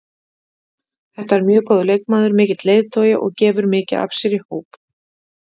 Þetta er mjög góður leikmaður, mikill leiðtogi og gefur mikið af sér í hóp.